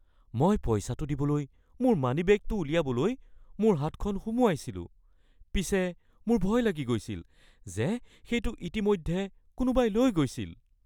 মই পইচাটো দিবলৈ মোৰ মানিবেগটো উলিয়াবলৈ মোৰ হাতখন সোমোৱাইছিলোঁ। পিছে মোৰ ভয় লাগি গৈছিল যে সেইটো ইতিমধ্যে কোনোবাই লৈ গৈছিল!